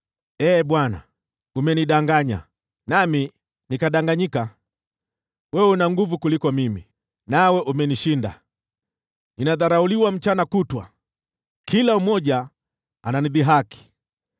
Ee Bwana , umenidanganya, nami nikadanganyika; wewe una nguvu kuniliko, nawe umenishinda. Ninadharauliwa mchana kutwa, kila mmoja ananidhihaki.